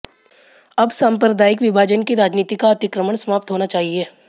अब सांप्रदायिक विभाजन की राजनीति का अतिक्रमण समाप्त होना चाहिए